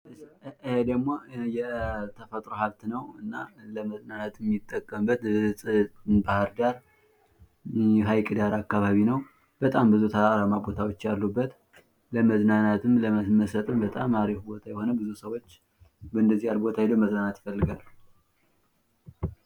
ይህ ደግም የተፈጥሮ ሀብት ነው እና ለመዝናናት የምጠቅበት ባህርዳር ሀይቅ ዳር አካባቢ ነው:: በጣም ብዙ ተራራማ ቦታዎች አሉበት ለመዝናናትም ለመመሰጥም በጣም አሪፍ ቦታ የሆነ ብዙ ሰዎች በንደዚህ አይነት ቦታ ሄደው መዝናናት ይፈልጋሉ::